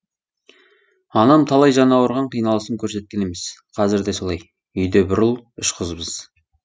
анам талай жаны ауырған қиналысын көрсеткен емес қазір де солай үйде бір ұл үш қызбыз